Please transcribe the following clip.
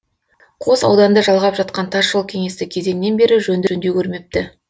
қос ауданды жалғап жатқан тасжол кеңестік кезеңнен бері жөндеу де көрмепті